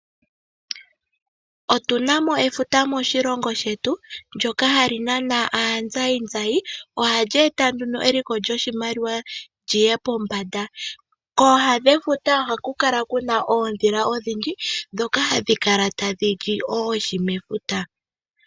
Otu na mo efuta moshilongo shetu ndyoka hali nana aatalelipo, ohali eta nduno eliko lyoshimaliwa li ye pombanda. Kooha dhefuta ohaku kala kuna oondhila odhindji ndhoka hadhi kala tadhi li oohi mefuta